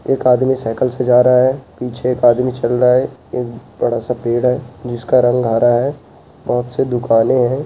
एक आदमी सइकिल से जा रहा है पीछे एक आदमी चल रहा है एक बड़ा-सा पेड़ है जिसका रंग हरा है बहोत सी दुकाने हैं।